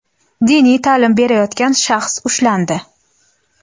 diniy ta’lim berayotgan shaxs ushlandi.